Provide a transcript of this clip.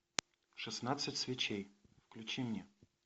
шестнадцать свечей включи мне